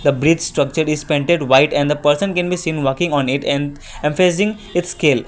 the bridge structured is painted White and the person can be seen working on it and facing its scale.